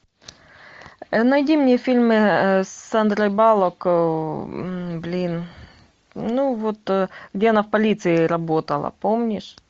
найди мне фильмы с сандрой баллок блин ну вот где она в полиции работала помнишь